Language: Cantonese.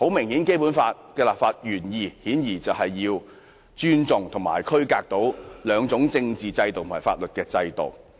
顯然，《基本法》的立法原意是尊重及區隔兩地的政治和法律制度。